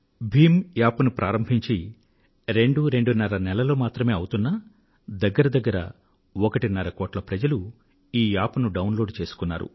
Bhim app ను ప్రారంభించి రెండు రెండున్నర నెలలు మాత్రమే అవుతున్నా దగ్గర దగ్గర ఒకటిన్నర కోట్ల మంది ప్రజలు ఈ యాప్ ను డౌన్ లోడ్ చేసుకున్నారు